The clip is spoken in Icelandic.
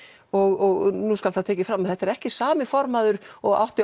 og nú skal það tekið fram að þetta er ekki sami formaður og átti